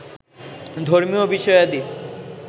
ধর্মীয় বিষয়াদি